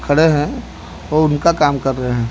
खड़े है और उनका काम कर रहे--